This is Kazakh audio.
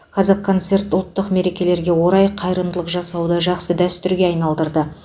қазақконцерт үлкен мерекелерге орай қайырымдылық жасауды жақсы дәстүрге айналдырды